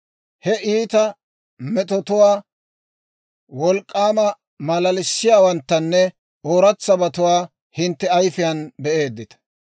He iita metotuwaa, wolk'k'aama malalissiyaawanttanne ooratsabatuwaa hintte ayifiyaan be'eeddita.